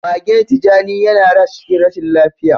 Magen tijani yana rash cikin rashin lafiya.